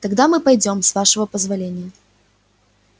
тогда мы пойдём с вашего позволения